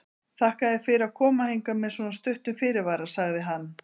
Þakka þér fyrir að koma hingað með svo stuttum fyrirvara sagði hann.